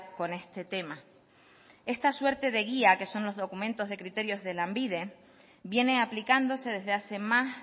con este tema esta suerte de guía que son los documentos de criterio de lanbide viene aplicándose desde hace más